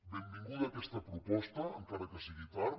benvinguda aquesta proposta encara que sigui tard